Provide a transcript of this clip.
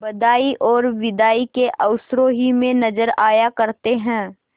बधाई और बिदाई के अवसरों ही में नजर आया करते हैं